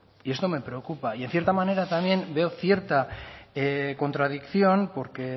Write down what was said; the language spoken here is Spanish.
y esto me preocupa y en cierta manera también veo cierta contradicción porque